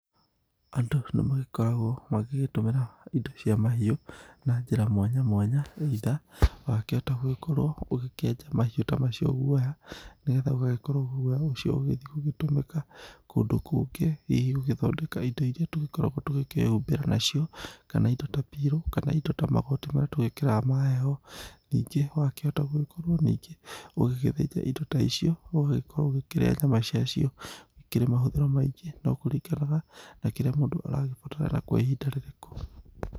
Andũ nĩ magĩkoragwo ma gĩgĩtũmĩra indo cia mahiũ na njĩra mwanyamwanya either, wakĩhota gũgĩkorwo ũgĩkĩenja mahiũ ta macio guoya, nĩ getha ũgagĩkorwo guoya ũcio ũgagĩthi gũgĩtũmĩka kũndũ kũngĩ hihi gũgĩthondeka indo iria tũgĩkoragwo tũgĩ kĩhubĩra na cio kana indo ta, pillow, kana indo ta magoti marĩa tũgĩkagĩra ma heho. Ningĩ wakĩhota gũgĩ korwo ningĩ ũgĩgĩ thĩnja indo ta icio ũgagĩ korwo ũkĩrĩa nyama cia cio. Ikĩrĩ mahũthĩro maingĩ no kũringanaga na kĩrĩa mũndũ aragĩbatara na kwa ihinda rĩrĩkũ.